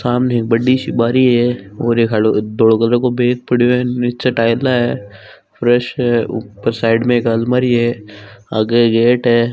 सामने एक बड्डी सी बारी है और एक हरो धोल कलर के बेड पड़ो है नीचे टाइल्स है फ्रेश है ऊपर साइड मे एक अलमारी है आगे गेट है।